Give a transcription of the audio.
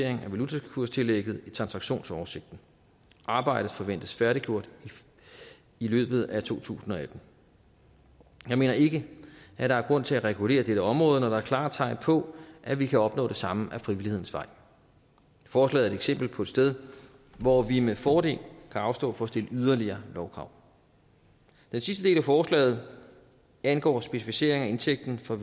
af valutakurstillægget i transaktionsoversigten arbejdet forventes færdiggjort i løbet af to tusind og atten jeg mener ikke at der er grund til at regulere dette område når der er klare tegn på at vi kan opnå det samme ad frivillighedens vej forslaget eksempel på et sted hvor vi med fordel kan afstå fra at stille yderligere lovkrav den sidste del af forslaget angår specificering af indtægten for